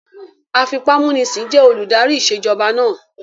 Afipámúnisìn jẹ́ olùdarí ìṣèjọba náà